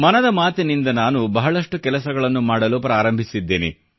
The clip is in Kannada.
ಮನದ ಮಾತಿನಿಂದ ನಾನು ಬಹಳಷ್ಟು ಕೆಲಸಗಳನ್ನು ಮಾಡಲು ಪ್ರಾರಂಭಿಸಿದ್ದೇನೆ